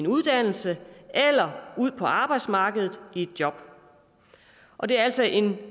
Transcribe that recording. uddannelse eller ud på arbejdsmarkedet i et job og det er altså en